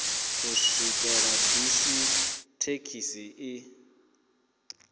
u swikela bisi thekhisi i